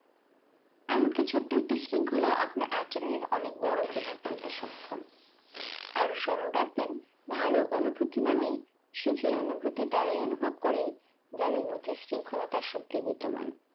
এমনকি ছোট্ট একটি শৃঙ্খলা আপনার একজনের অনেক বড় প্রভাব ফেলতে সক্ষম আরও স্মরণ রাখবেন ভাল অনুভূতি মানে সুখী অনুভূতি তারাই অনুভব করে যাদের মধ্যে শৃঙ্খলতার শক্তি বিদ্যমান